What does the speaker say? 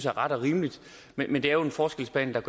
er ret og rimelig men det er jo en forskelsbehandling